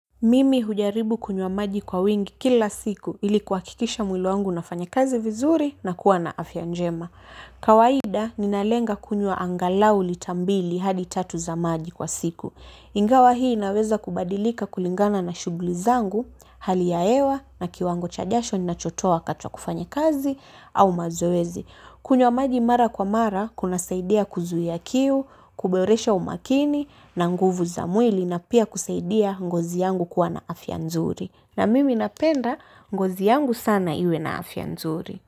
Mimi hujaribu kunywa maji kwa wingi kila siku ili kuha kikisha mwili wangu una fanya kazi vizuri na kuwa na afya njema. Kawaida ninalenga kunywa angalau litambili hadi tatu za maji kwa siku. Ingawa hii inaweza kubadilika kulingana na shugli zangu, hali ya hewa na kiwango chajasho nina chotoa wakati wa kufanya kazi au mazoezi. Kunywa maji mara kwa mara kuna saidia kuzuia kiu, kuboresha umakini na nguvu za mwili na pia kusaidia ngozi yangu kuwa na afya nzuri. Na mimi napenda ngozi yangu sana iwe na afya nzuri.